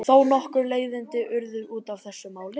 Þó nokkur leiðindi urðu út af þessu máli.